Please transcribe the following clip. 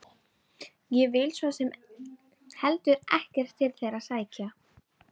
Ég hef svo sem heldur ekkert til þeirra að sækja.